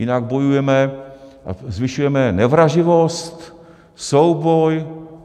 Jinak bojujeme a zvyšujeme nevraživost, souboj.